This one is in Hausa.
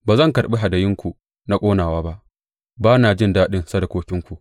Ba zan karɓi hadayunku na ƙonawa ba; ba na jin daɗin sadakokinku.